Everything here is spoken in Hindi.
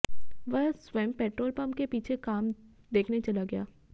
वह स्वयं पेट्रोल पंप के पीछे काम देखने चला गया